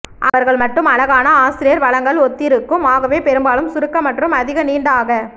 அவர்கள் மட்டும் அழகான ஆசிரியர் வழங்கல் ஒத்திருக்கும் ஆகவே பெரும்பாலும் சுருக்க மற்றும் அதிக நீண்ட ஆக